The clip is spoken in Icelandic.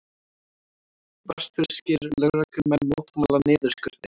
Vestfirskir lögreglumenn mótmæla niðurskurði